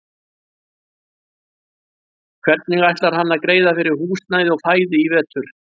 Hvernig ætlar hann að greiða fyrir húsnæði og fæði í vetur?